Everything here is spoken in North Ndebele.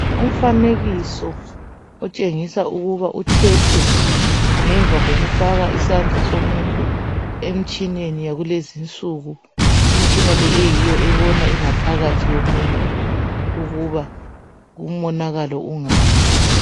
Umfanekiso otshengisa ukuba uthethwe ngemva kokufaka isandla somuntu emtshineni yakulezinsuku. Imitshina le eyiyo ebona ingaphakathi yomuntu ukuba umonakalo ungaphi.